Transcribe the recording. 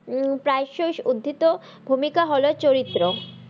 উম উদ্ধিত ভুমিকা হল চরিত্র